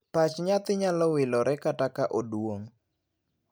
Pach nyathi nyalo wilore kata ka oduong'.